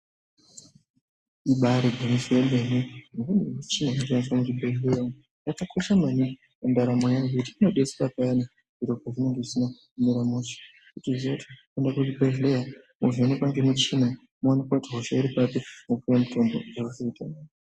Ibari gwinyiso remene imweni michini inoshandiswa muzvibhedhlera umu yakakosha maningi mundaramo yevantu ngekuti inodetsera pazvinenge zvisina kumira mushe wotoziva kuti unoenda kuchibhedhlera wovhenekwa nemichina iyi woonekwa kuti hosha iri papi wopuwa mutombo woita nane.